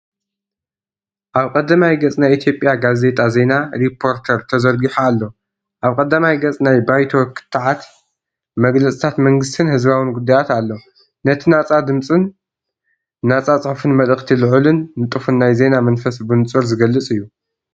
ኣብ ቀዳማይ ገጽ ናይ ኢትዮጵያ ጋዜጣ ዜና “ሪፖርተር” ተዘርጊሑ ኣሎ። ኣብ ቀዳማይ ገጽ፡ ናይ ባይቶ ክትዓት፡ መግለጺታት መንግስትን ህዝባውን ጉዳያት ኣሎ። ነቲ ናጻ ድምጽን ነጻ ጽሑፍን መልእኽቲ ልዑልን ንጡፍን ናይ ዜና መንፈስ ብንጹር ዝገልጽ።